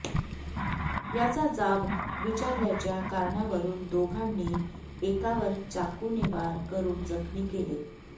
याचा जाब विचारल्याच्या कारणावरुन दोघांनी एकावर चाकूने वार करुन जखमी केले